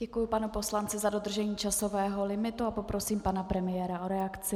Děkuji panu poslanci za dodržení časového limitu a poprosím pana premiéra o reakci.